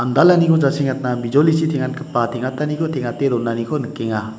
jasengatna bijolichi teng·atgipa teng·ataniko teng·ate donaniko nikenga.